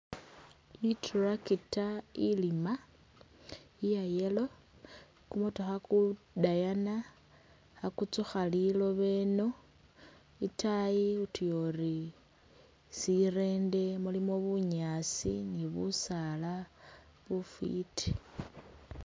I tractor ilima iya yellow kumotokha kudayana khakutsukha lilooba ino itaayi utuya uri sirende mulimo bunyasi ni busaala bufiti.